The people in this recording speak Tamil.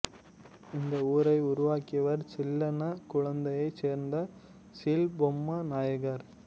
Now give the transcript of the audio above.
இந்த ஊரை உருவாக்கியவர் சில்லன்ன குலத்தைச் சேர்ந்த சீல்பொம்மு நாயக்கர்